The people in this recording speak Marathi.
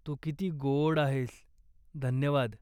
तू किती गोड आहेस, धन्यवाद.